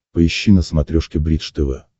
поищи на смотрешке бридж тв